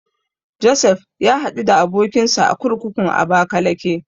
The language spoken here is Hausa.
Josef ya haɗu da abokinsa a kurkukun Abakalake.